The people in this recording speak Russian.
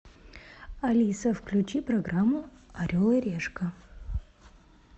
алиса включи программу орел и решка